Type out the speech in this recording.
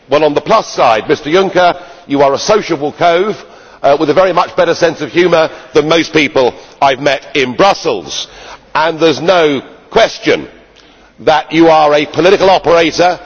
On the plus side, Mr Juncker, you are a sociable cove with a very much better sense of humour than most people I have met in Brussels, and there is no question that you are a political operator.